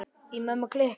Í Mömmu klikk!